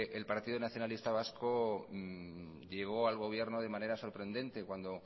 el partido nacionalista vasco llegó al gobierno de manera sorprendente cuando